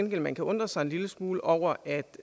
man kan undre sig en lille smule over at